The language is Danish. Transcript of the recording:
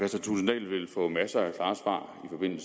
var